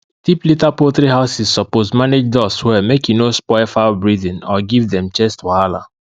deep litter poultry houses suppose manage dust well make e no spoil fowl breathing or give dem chest wahala